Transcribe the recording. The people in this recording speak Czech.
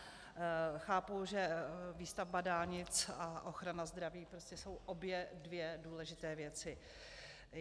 Chápu, že výstavba dálnic a ochrana zdraví prostě jsou obě dvě důležité věci.